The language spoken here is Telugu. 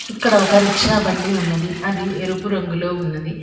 ఇక్కడ ఒక రిక్షా బండి ఉన్నది అది ఎరుపు రంగులో ఉన్నది.